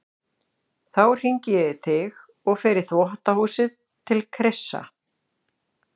Þá hringi ég í þig og fer í þvottahúsið til Krissa.